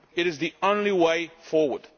it is the only way forward.